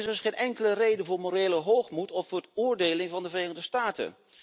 Er is dus geen enkele reden voor morele hoogmoed of voor veroordeling van de Verenigde Staten.